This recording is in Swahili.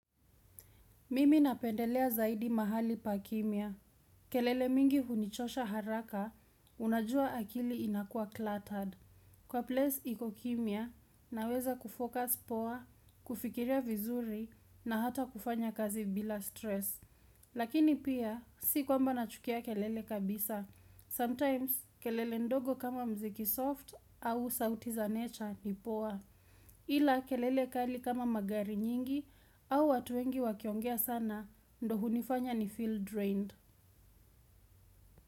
Mimi napendelea zaidi mahali pa kimya. Kelele mingi hunichosha haraka, unajua akili inakuwa cluttered. Kwa place iko kimya, naweza kufocus poa, kufikiria vizuri, na hata kufanya kazi bila stress. Lakini pia, si kwamba nachukia kelele kabisa. Sometimes, kelele ndogo kama muziki soft au sauti za nature ni poa. Ila kelele kali kama magari nyingi au watu wengi wakiongea sana ndio hunifanya nifeel drained.